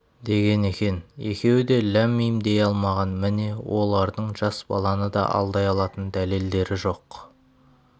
деген екен екеуі де ләм-мим дей алмаған міне олардың жас баланы да алдай алатын дәлелдері жоқ